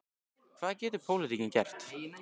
Hvað getur pólitíkin gert?